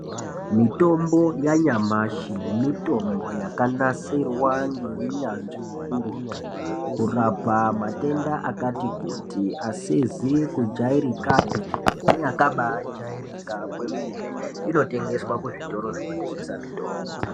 Mitombo yanyamashi mitombo yakanasirwa ngeunyanzvi ukurutu kurapa matenda akati kuti asizi kujairikapi neakabajairika kwemene inotengeswa kuzvitoro zvinotengesa mitombo .